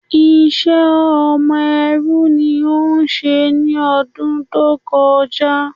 Ìṣe ọmọ ẹrú ni o ṣe ní ọdún tó kọjá.